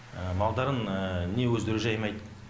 малдарын не өзддері жаймайды